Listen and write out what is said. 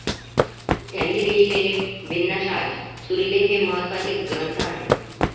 त्यांनी लिहिलेले 'भिन्नाशाद्ज' 'सुरीले' हे महत्वाचे ग्रंथ आहेत.